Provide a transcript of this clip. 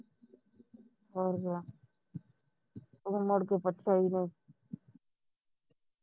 ਹੋ ਗਿਆ ਉਹ ਮੁੜਕੇ ਪੁੱਛਿਆ ਹੀ ਨਹੀ